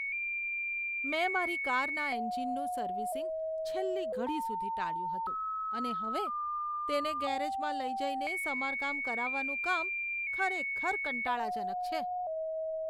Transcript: મેં મારી કારના એન્જિનનું સર્વિસિંગ છેલ્લી ઘડી સુધી ટાળ્યું હતું અને હવે તેને ગેરેજમાં લઈ જઈને સમારકામ કરાવવાનું કામ ખરેખર કંટાળાજનક છે.